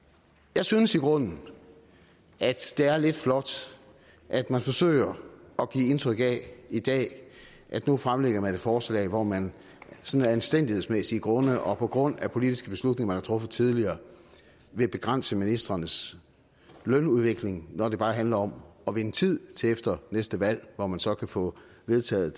jeg synes i grunden at det er lidt flot at man forsøger at give indtryk af i dag at nu fremlægger man et forslag hvor man sådan af anstændighedsmæssige grunde og på grund af politiske beslutninger man har truffet tidligere vil begrænse ministrenes lønudvikling når det bare handler om at vinde tid til efter næste valg hvor man så kan få vedtaget